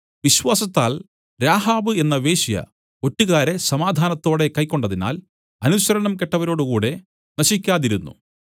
വിശ്വാസത്താൽ രാഹാബ് എന്ന വേശ്യ ഒറ്റുകാരെ സമാധാനത്തോടെ കൈക്കൊണ്ടതിനാൽ അനുസരണം കെട്ടവരോടു കൂടെ നശിക്കാതിരുന്നു